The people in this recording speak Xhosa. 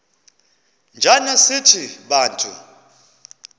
njana sithi bantu